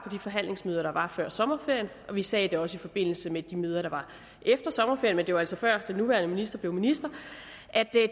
forhandlingsmøder der var før sommerferien og vi sagde det også i forbindelse med de møder der var efter sommerferien men det var altså før den nuværende skatteminister